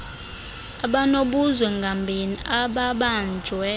abanobuzwe ngambini ababanjwe